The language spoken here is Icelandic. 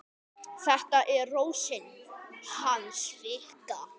Þetta er Rósin hans Fikka.